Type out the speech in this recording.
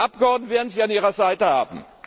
Die Abgeordneten werden Sie an Ihrer Seite haben!